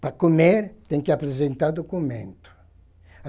Para comer, tem que apresentar documento.